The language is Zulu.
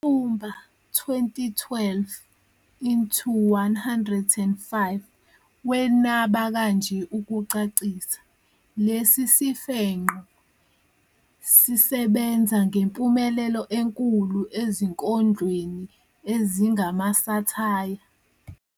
UNyatsumba, 2012 into 105, wenaba kanje ukucacisa, "Lesi sifenqo sisebenza ngempumelelo enkulu ezinkondlweni ezingamasathaya."